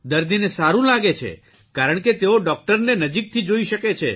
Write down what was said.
દર્દીને સારૂં લાગે છે કારણ કે તેઓ ડોકટરને નજીકથી જોઇ શકે છે